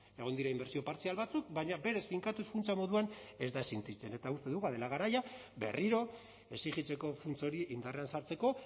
egon dira inbertsio partzial batzuk baina berez finkatuz funtsa moduan ez da existitzen eta uste dugu badela garaia berriro exijitzeko funts hori indarrean sartzeko